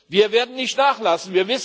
Wir werden nicht nachlassen!